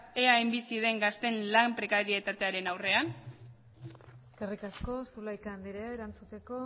eaen bizi diren gazteen lan prekarietatearen aurrean eskerrik asko zulaika andrea erantzuteko